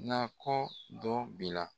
Na kɔ dɔ bila